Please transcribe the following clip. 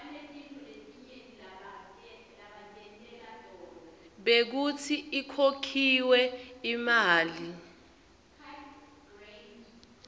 bekutsi ikhokhiwe imali